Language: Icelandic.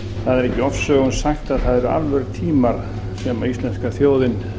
það er ekki ofsögum sagt að það eru alvörutímar sem íslenska þjóðin